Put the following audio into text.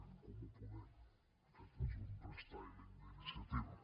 en comú podem aquest és un restyling d’iniciativa